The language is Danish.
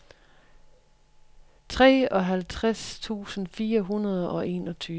treoghalvtreds tusind fire hundrede og enogtyve